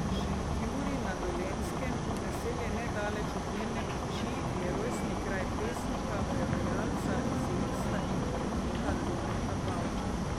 Šentjurij na Dolenjskem, naselje nedaleč od Mirne peči, je rojstni kraj pesnika, prevajalca, esejista in urednika Toneta Pavčka.